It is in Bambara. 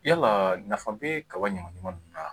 Yala nafa bɛ kaba ɲama ɲaman ninnu na